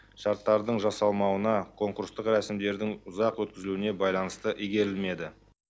шарттардың жасалмауына конкурстық рәсімдердің ұзақ өткізілуіне байланысты игерілмеді